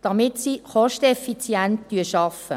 damit sie kosteneffizient arbeiten.